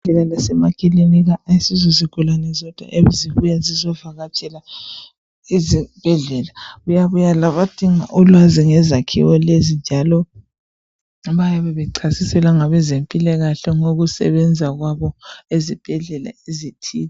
Ezibhedlela lemakilinika asizo zigulane zodwa ezibuya zizovakatshela ezibhedlela kuyabuya labadinga ulwazi ngezakhiwo lezi njalo bayabe bechasiselwa ngabezempilakahle ngokusebenza kwabo ezibhedlela ezithile.